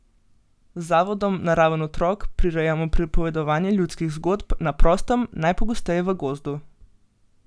Z zavodom Naraven otrok prirejamo pripovedovanje ljudskih zgodb na prostem, najpogosteje v gozdu.